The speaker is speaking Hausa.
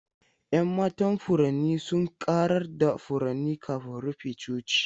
Yan matan furanni sun ƙarar da furanni kafin rufe coci.